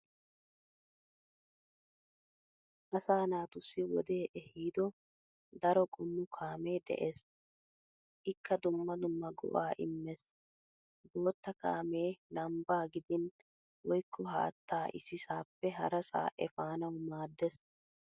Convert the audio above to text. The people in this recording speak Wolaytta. Asa naatussi wodee ehiido daro qommo kaamee de'ees. Ikka dumma dumma go'aa immees. Bootta kaamee lambbaa gidin woykko haattaa issisaappe harasaa efanawu maaddees.